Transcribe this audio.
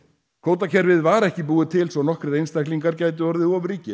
kvótakerfið var ekki búið til svo nokkrir einstaklingar gætu orðið